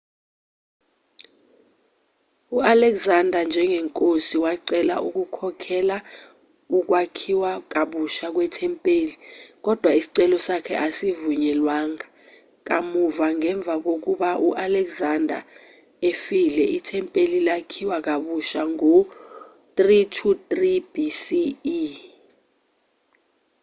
u-alexander njengenkosi wacela ukukhokhelela ukwakhiwa kabusha kwethempeli kodwa isicelo sakhe asivunyelwanga kamuva ngemva kokuba u-alexander efile ithempeli lakhiwa kabusha ngo-323 bce